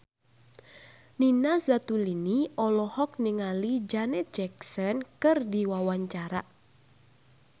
Nina Zatulini olohok ningali Janet Jackson keur diwawancara